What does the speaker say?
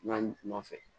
N'a ɲuman fɛ